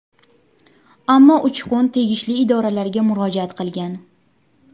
Ammo Uchqun tegishli idoralarga murojaat qilgan.